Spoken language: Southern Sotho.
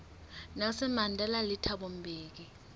nelson mandela le thabo mbeki